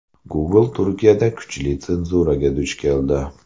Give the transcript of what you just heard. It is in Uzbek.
Google Turkiyada kuchli senzuraga duch keldi.